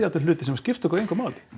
upp hluti sem skipta okkur engu máli